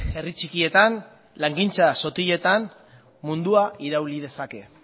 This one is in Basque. herri txikietan langintza sotiletan mundua irauli dezake